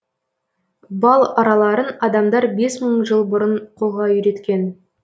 бал араларын адамдар бес мың жыл бұрын қолға үйреткен